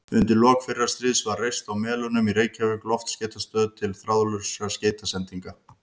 Undir lok fyrra stríðs var reist á Melunum í Reykjavík loftskeytastöð til þráðlausra skeytasendinga.